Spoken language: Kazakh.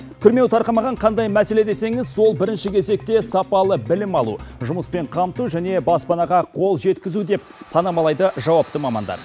күрмеуі тарқамаған қандай мәселе десеңіз ол бірінші кезекте сапалы білім алу жұмыспен қамту және баспанаға қол жеткізу деп санамалайды жауапты мамандар